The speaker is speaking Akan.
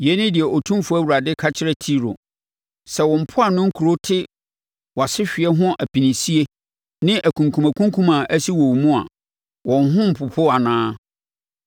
“Yei ne deɛ Otumfoɔ Awurade ka kyerɛ Tiro: Sɛ wo mpoano nkuro no te wʼasehweɛ ho apinisie ne akunkumakunkum a asi wɔ wo mu a, wɔn ho rempopo anaa?